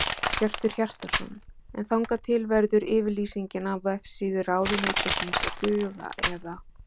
Hjörtur Hjartarson: En þangað til verður yfirlýsingin á vefsíðu ráðuneytisins að duga eða?